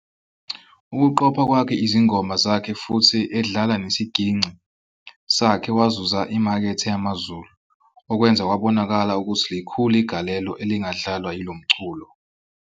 Ukuqopha kwakhe izingoma zakhe futhi edlala nesigingci sakhe wazuza imakethe yamaZulu, okwenza kwabonakala ukuthi likhulu igalelo ilangadlalwa yilomculo.